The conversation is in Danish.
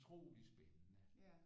Utrolig spændende